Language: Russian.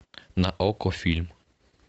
на окко фильм